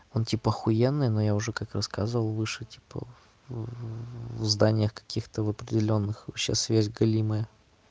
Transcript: он типа ахуенный но я уже как рассказывал выше типа в зданиях каких-то определённых вообще связь галимая